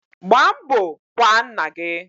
Gbaa mbo kwaa nna gi